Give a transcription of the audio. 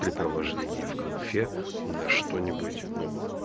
препровождение в конфе на что-нибудь ну